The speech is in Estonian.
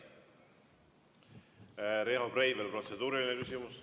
Riho Breivel, protseduuriline küsimus.